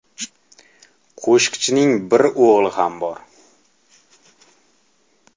Qo‘shiqchining bir o‘g‘li ham bor.